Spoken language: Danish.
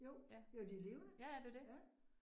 Jo, jo de levende, ja